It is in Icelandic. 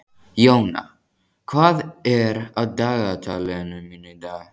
Jóna, hvað er á dagatalinu mínu í dag?